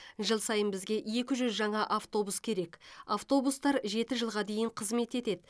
жыл сайын бізге екі жүз жаңа автобус керек автобустар жеті жылға дейін қызмет етеді